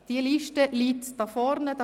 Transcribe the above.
Diese Liste liegt hier vorn auf.